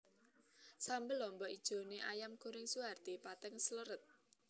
Sambel lombok ijone Ayam Goreng Suharti pating srelet